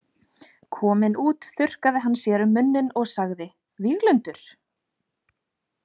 Kominn út þurrkaði hann sér um munninn og sagði: Víglundur?